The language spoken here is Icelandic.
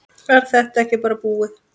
Er þetta ekki bara búið?